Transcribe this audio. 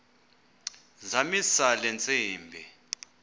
zamisa le ntsimbi